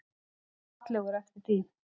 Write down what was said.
Og fallegur eftir því.